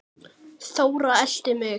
Þóra elti mig.